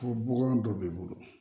Fɔ bɔgɔ dɔ b'i bolo